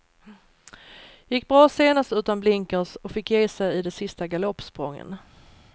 Gick bra senast utan blinkers och fick ge sig i de sista galoppsprången.